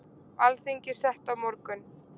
Alþingi sett á morgun